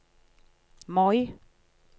Moi